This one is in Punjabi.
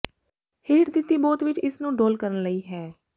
ਹੇਠ ਦਿੱਤੀ ਬੋਤ ਵਿੱਚ ਇਸ ਨੂੰ ਡੋਲ੍ਹ ਕਰਨ ਲਈ ਹੈ